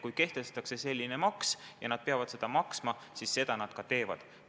Kui kehtestatakse selline maks ja nad peavad seda maksma, siis seda nad ka teevad.